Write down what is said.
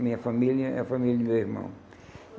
Minha família é a família do meu irmão.